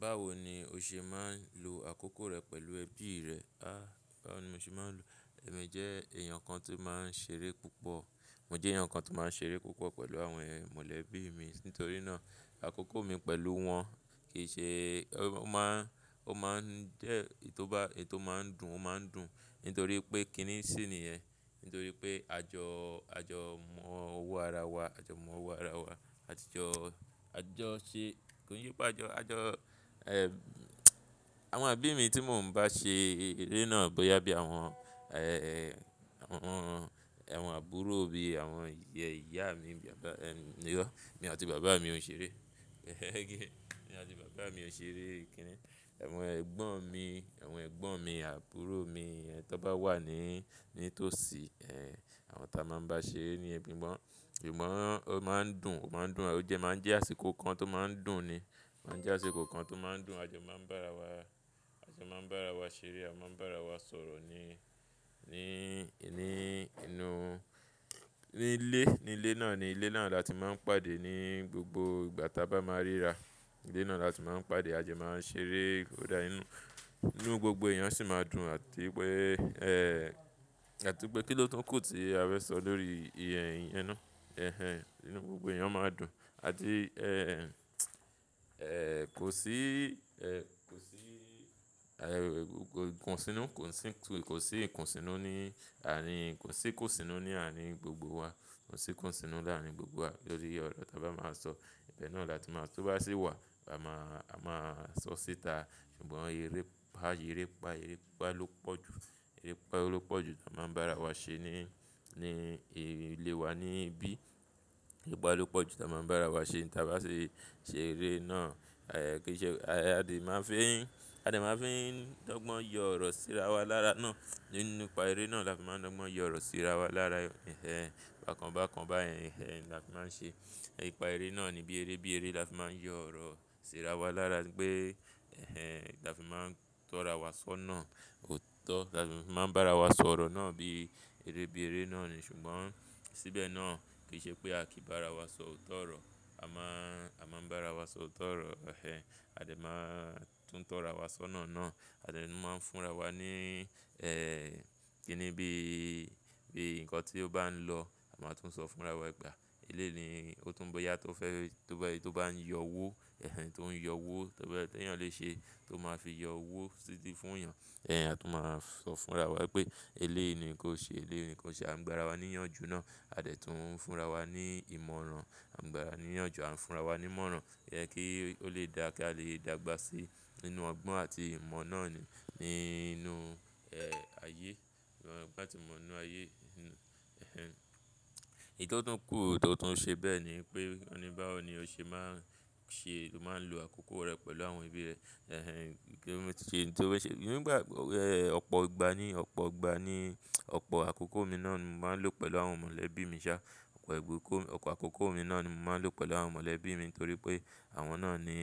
Báwo ni o ṣe máa ń lo àkókò rẹ pẹ̀lú ẹbí rẹ? A, báwo ni mo ṣe máa ń lo Èmi jẹ́ èèyàn kan tó máa ń ṣeré púpọ̀. Mo jẹ́ èèyàn kan tó máa ń ṣeré púpọ̀ pẹ̀lú àwọn mọ̀lẹ́bí mi. Nítorí náà, àkókò mi pẹ̀lú wọn kì í ṣe O máa ń jẹ́ ètò máa ń dùn, ó máa ń dùn nítorí pé kíní sì ni ẹ. Nítorí pé àjọ, àjọ mọ́wọ́ ara wa, àjọ mọ́wọ́ ara wa, àjọ ṣe, kí nípé àjọ, àjọ, ẹ, àwọn ebí mi tí mò ń bá ṣe eré náà bóyá bí àwọn, ẹ, àwọn àbúrò mi, àwọn ìyá mi, bàbá, ẹ, yọ, èmi àti bàbá mi ò ń ṣeré. Ẹ̀mí àti bàbá mi ò ń ṣeré kíní. Àwọn ẹ̀gbọ́n mi, àwọn ẹ̀gbọ́n mi, àbúrò mi yẹn tó bá wà ní, ní tòsí, ẹ, àwọn tí a máa ń bá ṣeré ni, ṣùgbọ́n, ṣùgbọ́n ó máa ń dùn, ó máa ń dùn, ó jẹ́ máa ń jẹ́ àsìkò kan tó máa ń dùn ni. Máa ń jẹ́ àsìkò kan tó máa ń dùn. Àjọ máa ń bá ara wa, àjọ máa ń bá ara wa ṣeré, à máa ń bá ara wa sọ̀rọ̀ ní, ní, ní inú, ní ilé, ní ilé náà ni. Ilé náà ni a ti máa ń pàdé ní gbogbo ìgbà tí a bá máa ríra. Ilé náà ni a ti máa ń pàdé, àjọ máa ń ṣeré ó dá inú, inú gbogbo èèyàn sì máa dùn àti wipe ẹ, àti pé kí ló tún kù tí a fẹ́ sọ lórí i iyẹn náà. Ẹ̀hẹn, inú gbogbo èèyàn máa dùn. Àdí, ẹ, kò sí, ẹ, kò sí, ẹ, kò sí ikunsínú, kò sí ikunsínú ní àárín gbogbo wa. Kò sí'kunsínú láàárín gbogbo wa lórí ọ̀rọ̀ tí a bá máa ń sọ. Ìbẹ náà ni a ti máa ń tó bá sí wà, a máa, a máa sọ síta. Ṣùgbọ́n erépa, erépá, erépá ló pọ̀ jù. Erépá ló pọ̀ jù tí a máa ń bá ara wa ṣe ní, ní ilé wa níbí. Erépá ló pọ̀ jù tí a máa ń bá ara wa ṣe tí a bá ṣe, ṣe eré náà. Aì kí ṣe, a de máa ń fi n, a dì máa ń fi n dọ́gbọ́n yọ ọ̀rọ̀ sí ara wa lára náà. Nínú ipa eré náà lafi máa ń dọ́gbọ́n yọ ọ̀rọ̀ sí ara wa lára. Ẹ̀hẹn, bákan bákan báyen, ẹ̀hẹn lafi máa ń ṣe. Ipa eré náà ni bí eré, bí eré lafi máa ń yọ ọ̀rọ̀ sí ara wa lára pé, ẹ̀hẹn, lafi máa ń tọ̀ọ́ra wa sọ́nà. Ó tọ́, lafi máa ń bá ara wa sọ̀rọ̀ náà bí eré, bí eré náà ni. Ṣùgbọ́n síbẹ̀ náà kì í ṣe pé a kìí bá ara wa sọ òótọ́ ọ̀rọ̀. A máa ń, a máa ń bá ara wa sọ òótọ́ ọ̀rọ̀. Ẹ̀hẹn, a de máa ń tún tọ́ra wa sọ́nà náà. A de máa ń fúnra wa ní, ẹ, kíni bí, bí ǹkan tí ó bá ń lọ, a máa tún sọ fúnra wa gbà. Eléyi nìí, ó tún bóyá tó fẹ́, tó bá ń yọ owó, ẹ̀hẹn, tó ń yọ owó, tó bá fẹ́, tí èèyàn le ṣe tó máa fi yọ owó fún'yàn. Ẹ̀hẹn, a tún máa sọ fúnra wa wípé eleyi nìí ní kí ó ṣe, eleyi nìí ní kí ó ṣe. A ń gbá ara wa níyànjú náà. A de tún ń fúnra wa ní ìmọ̀ràn. A ń gbá ara wa níyànjú. A ń fúnra wa ní ìmọ̀ràn. Ẹ̀hẹn, kí ó lè dà kí a lè dàgbà sí inú ọgbọ́n àti ìmọ̀ náà ni, ní inú, ẹ, ayé. Ìgbà tí mo ń nu ayé. Ẹ̀hẹn, ìtọ́tún kú tọ́tun ṣe bẹ́ẹ̀ ni pé won ní báwo ni o ṣe máa ń ṣe, máa ń lo àkókò rẹ pẹ̀lú àwọn ẹbí rẹ? Nígbà, ọ̀pọ̀ ìgbà ni, ọ̀pọ̀ ìgbà ni, ọ̀pọ̀ àkókò mi náà ni mo máa ń lò pẹ̀lú àwọn mọ̀lẹ́bí mi ṣá. Ọ̀pọ̀ ẹ̀bùn, ọ̀pọ̀ àkókò mi náà ni mo máa ń lò pẹ̀lú àwọn mọ̀lẹ́bí mi nítorí pé àwọn náà ni,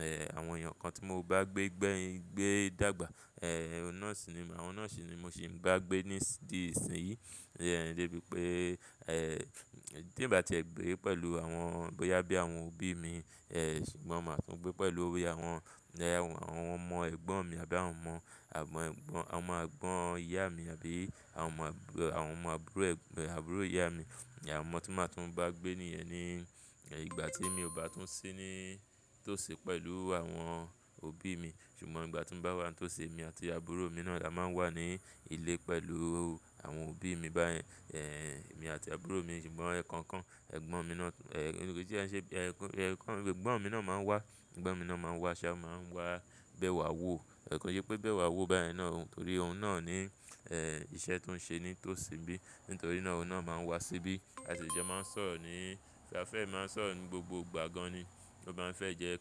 ẹ, àwọn èèyàn kan tí mo bá gbé gbé, gbé dàgbà. Ẹ, àwọn náà sì ni, àwọn náà sì ni mo sì ń bá gbé díìsìnyìí. Ẹ̀hẹn, débi pé, ẹ, tí ì bá ti gbé pẹ̀lú àwọn bóyá bí àwọn òbí mi, ẹ, ṣùgbọ́n màá tún gbé pẹ̀lú bí àwọn, àwọn ọmọ ẹ̀gbọ́n mi àbí àwọn ọmọ àwọn ẹ̀gbọ́n, àwọn ọmọ àgbọn ìyá mi àbí àwọn ọmọ ẹ̀gbọ́n, àwọn ọmọ àbúrò, àbúrò ìyá mi. Àwọn tí màá tún bá gbé níyẹn ni ìgbà tí mi ò bá tún sí ní tòsí pẹ̀lú àwọn òbí mi. Ṣùgbọ́n ìgbà tí ń bá wá tòsí, èmi àti àbúrò mi náà la máa ń wà ní ilé pẹ̀lú àwọn òbí mi báyẹn. Ẹ̀hẹn, èmi àti àbúrò mi ṣùgbọ́n ẹ̀kọ̀ọ̀kan, ẹ̀gbọ́n mi náà, ẹ, kí ṣe ẹ ẹ̀kọ́, ẹ̀gbọ́n mi náà máa ń wá. Ẹ̀gbọ́n mi náà máa ń wá ṣá, máa ń wá bẹwà wò. Ẹ̀ẹ̀ kon ṣé pé bẹwà wò báyẹn náà n torí òun náà ní, ẹ, iṣẹ́ tó ń ṣe ní tòsí bí. Nítorí náà òun náà máa ń wá síbí. A sì jọ máa ń sọ̀rọ̀ ní, bí a fẹ́ è máa ń sọ̀rọ̀ ní gbogbo ìgbà gan ni. Ó má ń fẹ́ jẹ́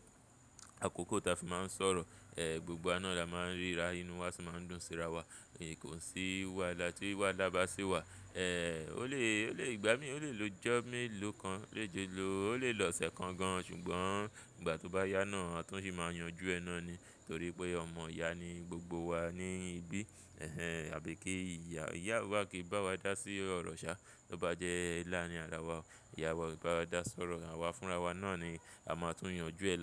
àkókò tí a fi máa ń sọ̀rọ̀. Ẹ, gbogbo wá na la máa ń ríra inú wa sì máa ń dùn síra wa. Kò sí wáhalà tí wáhalà bá sì wà. Ẹ, ó lè, ó lè ìgbà mí, ó lè lọjọ melọ́kan, lè jọ lọ, ó lè lọ̀ṣẹ kan gan ṣùgbọ́n ìgbà tó bá yá náà a tún sì máa yanjú ẹ náà ni. Nítorí pé ọmọ ìyá ni gbogbo wa níbí. Ẹ̀hẹn, àbí kí ìyá, ìyá wa kìí bá wa dá sí ọ̀rọ̀ ṣá tó bá jẹ́ ńlá ni àwa. Ìyá wa kò bá wa dá sọ̀rọ̀, àwa fúnra wa náà ni a máa tún yanjú ẹ lára.